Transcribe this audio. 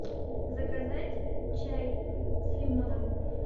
заказать чай с лимоном